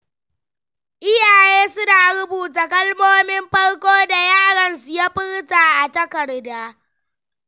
Iyaye suna rubuta kalmomin farko da yaron su ya furta a takarda.